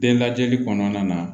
Den lajɛli kɔnɔna na